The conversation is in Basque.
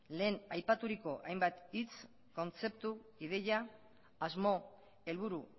lehen aipaturiko hainbat hitz kontzeptu ideia asmo helburu